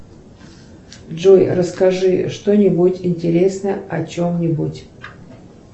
джой расскажи что нибудь интересное о чем нибудь